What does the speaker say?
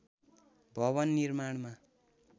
भवन निर्माणमा